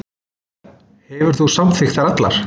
Þú hefur samþykkt þær allar.